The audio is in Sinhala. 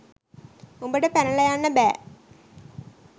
උඹට පැනලා යන්න බෑ.